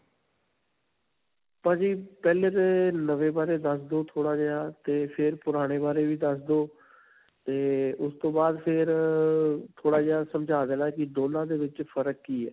ਭਾਜੀ ਪਹਿਲਾਂ 'ਤੇ ਨਵੇਂ ਬਾਰੇ ਦੱਸ ਦੋ ਥੋੜਾ ਜਿਹਾ, 'ਤੇ ਫਿਰ ਪੁਰਾਣੇ ਬਾਰੇ ਵੀ ਦੱਸ ਦੋ 'ਤੇ ਉਸਤੋਂ ਬਾਦ ਫਿਰ ਅਅ ਥੋੜਾ ਜਿਹਾ ਸਮਝਾ ਦੇਣਾ ਕਿ ਦੋਨਾਂ ਦੇ ਵਿੱਚ ਫ਼ਰਕ ਕਿ ਹੈ.